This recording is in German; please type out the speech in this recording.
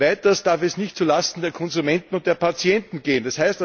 Weiters darf es nicht zulasten der Konsumenten und der Patienten gehen.